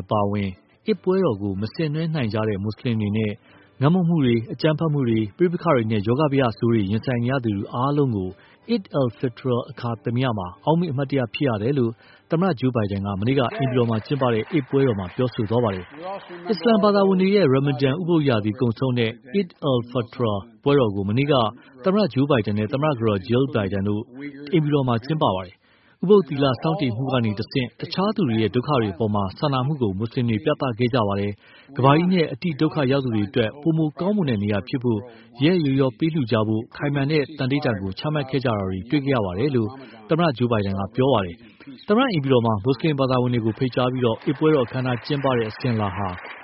အပါအဝင် Eid ပွဲတော်ကို မဆင်နွှဲနိုင်တဲ့ မူဆလင်တွေနဲ့ ငတ်မွတ်မှု၊ အကြမ်းဖက်မှု ပဋိပက္ခတွေ၊ ရောဂါဘယတွေနဲ့ ရင်ဆိုင်နေရတဲ့သူအားလုံးအတွက် Eid al-Fitr အခါသမယမှာ အောက်မေ့ အမှတ်တရဖြစ်ရတယ်လို့ သမ္မတ Joe Biden က မနေ့က အိမ်ဖြူတော်မှာကျင်းပတဲ့ Eid ပွဲတော်မှာ ပြောဆိုသွာပါတယ်။ အစ္စလမ်ဘာသာဝင်တွေရဲ့ ရမ်မန်ဒန် ဥပုသ်ရာသီကုန်ဆုံးတဲ့ Eid al-Fitr ပွဲတော် ကို မနေ့က သမ္မတ Joe Biden နဲ့ သမ္မတကတော် Jill Biden တို့ အိမ်ဖြူတော်မှာ ကျင်းပခဲ့ကြတာပါ။ “ဥပုသ်သီလ ဆောက်တည်မှုကတဆင့် တခြားသူတွေရဲ့ ဒုက္ခတွေအပေါ် စာနာမှုကို မွတ်ဆလင်တွေ ပြသခဲ့ကြပါတယ်။ ကမ္ဘာကြီးနဲ့ အတိဒုက္ခရောက်သူတွေအတွက် ပိုမိုကောင်းမွန်တဲ့နေရာဖြစ်ဖို့ ရက်ရက်ရောရော ပေးလှူကြဖို့ ခိုင်မာတဲ့ သန္နိဌာန်ကို ချမှတ်ခဲ့ကြတာတွေ တွေ့မြင်ခဲ့ရပါတယ်...” လို့ သမ္မတ Joe Biden ပြောဆိုသွားပါတယ်။ သမ္မတအိမ်ဖြူတော်မှာ မူဆလင်ဘာသာဝင်တွေကို ဖိတ်ကြားပြီး အိဒ်ပွဲတော် အခမ်းအနား ကျင်းပတဲ့အစဉ်အလာ